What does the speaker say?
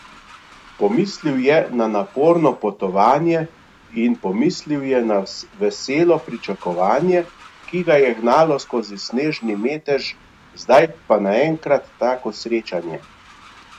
Pomislil je na naporno potovanje in pomislil je na veselo pričakovanje, ki ga je gnalo skozi snežni metež zdaj pa naenkrat tako srečanje!